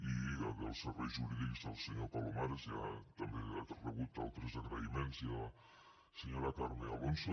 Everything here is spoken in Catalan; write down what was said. i dels serveis jurídics al senyor palomares que ja també ha rebut altres agraïments i a la senyora carme alonso